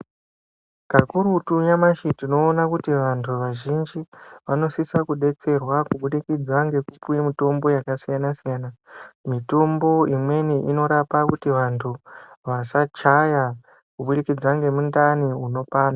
Kakurutu nyamashi tinoona kuti vanthu vazhinji vanosisa kudetserwa kubudikidza ngekupuwe mitombo dzakasiyana siyana mitombo imweni inorapa kuti vanthu vasachaya nkubudikidza ngemundani munopanda.